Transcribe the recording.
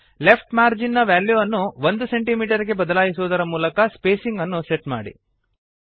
left margin ನ ವ್ಯಾಲ್ಯೂವನ್ನು 1 centimetre ಗೆ ಬದಲಾಯಿಸುವುದರ ಮೂಲಕ ಸ್ಪೇಸಿಂಗ್ ಅನ್ನು ಸೆಟ್ ಮಾಡಿ